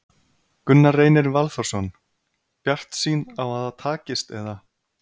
Gunnar Reynir Valþórsson: Bjartsýn á að það takist, eða?